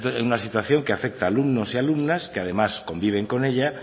esta es una situación que afecta alumnos y alumnas que además conviven con ella